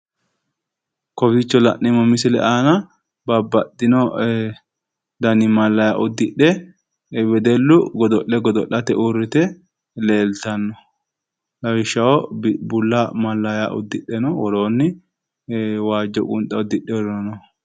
Kowiicho la'neemmo misile aana babbaxxino dani mallayya uddidhe wedellu godo'le godo'late uurrite leeltanno lawishshaho, bulla mallayya uddidhe woroonni waajjo qunxa uddidheeworino no.